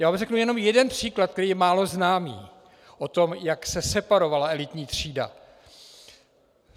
Já vám řeknu jenom jeden příklad, který je málo známý, o tom, jak se separovala elitní třída.